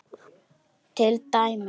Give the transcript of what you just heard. Til dæmis.